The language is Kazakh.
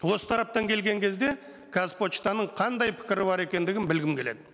осы тараптан келген кезде қазпоштаның қандай пікірі бар екендігін білгім келеді